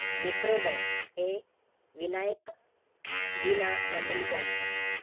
मित्रोदय हे विनायक वि. ना. मंडलिक यांच आहे.